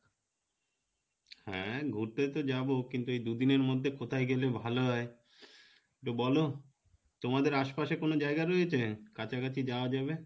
হ্যাঁ ঘুরতে তো যাবো কিন্তু এই দু দিনের মধ্যে কোথাই গেলে ভালো হয় তো বলো তোমাদের আশপাশে কোনো জায়গা রয়েছে, কাছাকাছি যাওয়া যাবে?